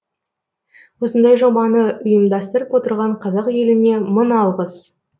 осындай жобаны ұйымдастырып отырған қазақ еліне мың алғыс